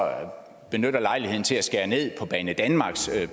benytter lejligheden til at skære ned på banedanmarks